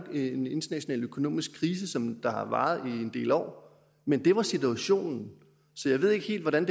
en international økonomisk krise som har varet en del år men det var situationen så jeg ved ikke helt hvordan